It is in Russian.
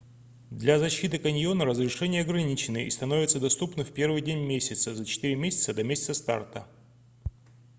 для защиты каньона разрешения ограничены и становятся доступны в 1-й день месяца за четыре месяца до месяца старта